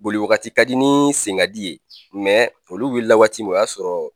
Boliwagati ka di ni senkadi ye olu wulila la waati min o y'a sɔrɔ